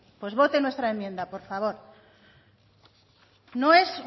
pues vote nuestra enmienda por favor no es